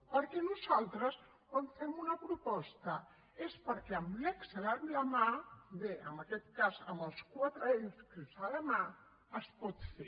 perquè nosaltres quan fem una proposta és perquè amb l’excel a la mà bé en aquest cas amb els quatre excels a la mà es pot fer